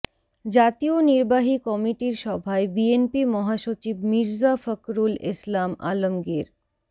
জাতীয় নির্বাহী কমিটির সভায় বিএনপি মহাসচিব মির্জা ফখরুল ইসলাম আলমগীর